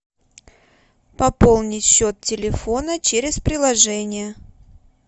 пополнить счет телефона через приложение